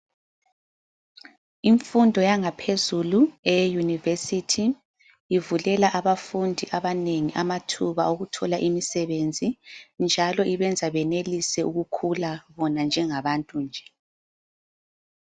Imfundo yangaphezulu eye yunivesthi ivulela abafundi abanengi amathuba okuthola imisebenzi njalo ibenza benelise ukukhula bona njengabantu nje.